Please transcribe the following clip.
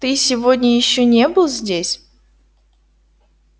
ты сегодня ещё не был здесь